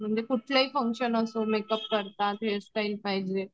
म्हणजे कुठचेही फंक्शन असो मेकअप करतात हेअरस्टाईल पाहिजे.